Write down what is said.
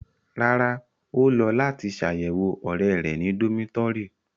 Rárá, o lọ lati lọ ṣayẹwo ọrẹ rẹ ni domitọri